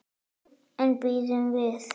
En bíðum við.